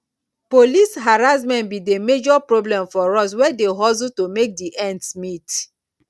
police harassment be di major problem for us wey dey hustle to make di ends meet